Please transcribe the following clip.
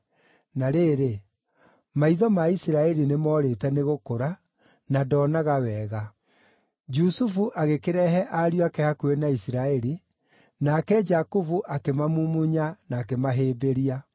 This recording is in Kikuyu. Na rĩrĩ, maitho ma Isiraeli nĩmoorĩte nĩ gũkũra, na ndoonaga wega. Jusufu agĩkĩrehe ariũ ake hakuhĩ na Isiraeli, nake Jakubu akĩmamumunya na akĩmahĩmbĩria.